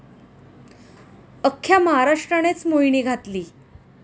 अख्ख्या महाराष्ट्रानेच मोहिनी घातली.